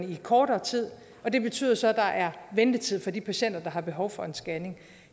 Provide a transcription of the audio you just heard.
i kortere tid og det betyder så at der er ventetid for de patienter der har behov for en scanning